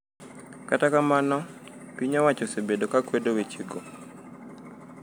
Kata kamano, piny owacho osebedo ka kwedo wechego.